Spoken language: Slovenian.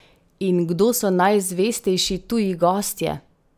In kdo so najzvestejši tuji gostje?